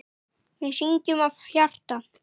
Við syngjum af hjarta.